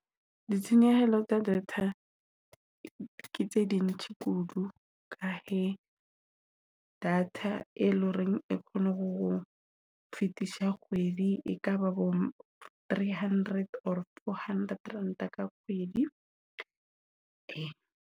Ditshenyehelo tsa data ke tse ding tse kudu. Ka he data e loreng e kgone ho fetisa kgwedi, e kaba bo three hundred or four hundred Ranta ka kgwedi.